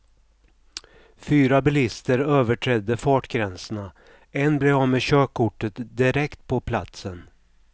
Fyra bilister överträdde fartgränserna, en blev av med körkortet direkt på platsen.